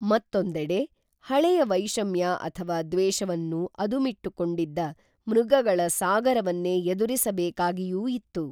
ಮತ್ತೊಂದೆಡೆ ಹಳೆಯ ವೈಷಮ್ಯ ಅಥವಾ ದ್ವೇಷವನ್ನು ಅದುಮಿಟ್ಟುಕೊಂಡಿದ್ದ ಮೃಗಗಳ ಸಾಗರವನ್ನೇ ಎದುರಿಸಬೇಕಾಗಿಯೂ ಇತ್ತು